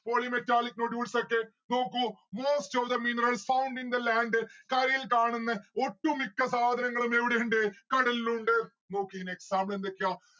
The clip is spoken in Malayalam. Polymetallic nodules ഒക്കെ നോക്കൂ most of the minerals found in the land കരയിൽ കാണുന്നെ ഒട്ടുമിക്ക സാധനങ്ങളും എവിടെ ഇണ്ട് കടലിലുണ്ട് നോക്ക് ഇയിൻ example എന്തൊക്കെയാ